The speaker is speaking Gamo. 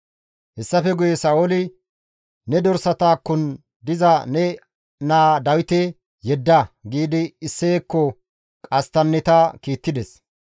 Hessafe guye Sa7ooli, «Ne dorsatakkon diza ne naa Dawite yedda» giidi Isseyekko qasttanneta kiittides.